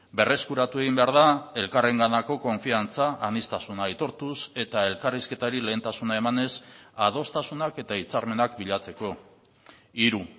berreskuratu egin behar da elkarrenganako konfiantza aniztasuna aitortuz eta elkarrizketari lehentasuna emanez adostasunak eta hitzarmenak bilatzeko hiru